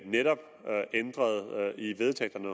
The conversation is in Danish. netop ændret i vedtægterne